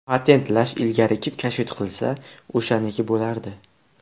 Patentlash ilgari kim kashfiyot qilsa, o‘shaniki bo‘lardi.